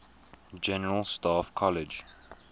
general staff college